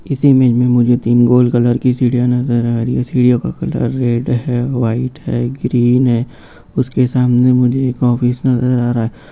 इस इमेज में मुझे तीन गोल कलर की सीढ़ियाँ नजर आ रही है सीढ़ियों का कलर रेड है वाइट है ग्रीन है उसके सामने मुझे एक ऑफिस नज़र आ रहा है।